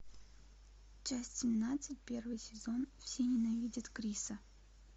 часть семнадцать первый сезон все ненавидят криса